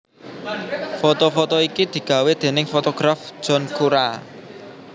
Foto foto iki digawé déning fotograf John Cura